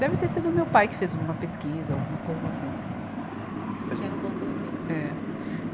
Deve ter sido meu pai que fez uma pesquisa, alguma coisa assim. De que era um bom cursinho. É.